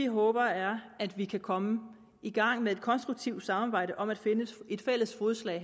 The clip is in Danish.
håber er at vi kan komme i gang med et konstruktivt samarbejde om at finde fælles fodslag